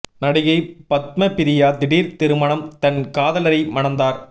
நடிகை பத்மபிரியா திடீர் திருமணம் தன் காதலரை மணந்தார்